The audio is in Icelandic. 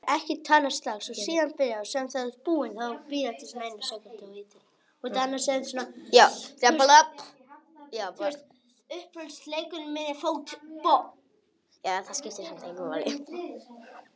Þetta var séra Aðal steinn, í síðfrakka og með loðhúfu.